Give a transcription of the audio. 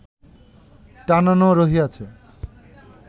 টানানো রহিয়াছে